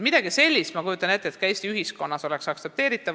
Ma kujutan ette, et midagi sellist oleks ka Eesti ühiskonnas aktsepteeritav.